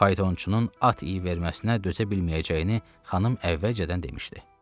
Faytonçunun at iyi verməsinə dözə bilməyəcəyini xanım əvvəlcədən demişdi.